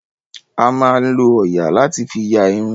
A máa ń lọ òòyà láti fi ya irun.